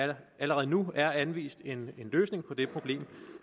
der allerede nu er anvist en løsning på det problem